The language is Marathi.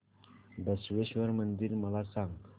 बसवेश्वर मंदिर मला सांग